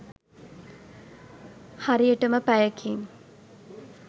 හරියටම පැයකින්